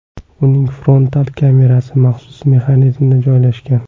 Uning frontal kamerasi maxsus mexanizmda joylashgan.